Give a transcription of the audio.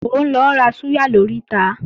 Mò ń lọ ra súyà lóríta